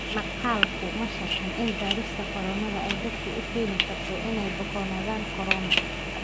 Maqaalku ma sharraxin in baarista koronadu ay dadka u keeni karto inay ka bukoonaadaan korona.